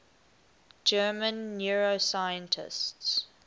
german neuroscientists